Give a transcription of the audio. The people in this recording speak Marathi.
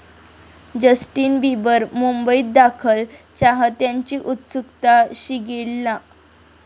जस्टिन बिबर मुंबईत दाखल, चाहत्यांची उत्सुकता शिगेला